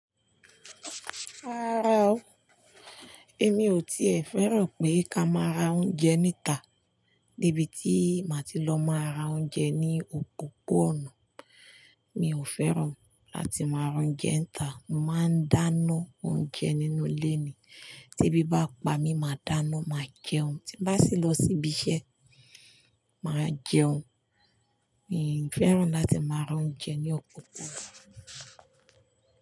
Rárá o, èmi ò tí è fẹ́ràn pé kí a máa ra oúnjẹ níta. De bi tí màá ti lọ máa ra oúnjẹ ní òpópó-ònà. Mi ò fẹ́ràn láti máa ra oúnjẹ níta. Mo máa ń dáná oúnjẹ nínú ilé mi tí ebí bá pa mi máa dáná, màá jẹun, tí bá sì lọ sí ibi iṣẹ́, màá jẹun. Mi ò fẹ́ràn láti máa ra oúnjẹ ní òpópó-ònà.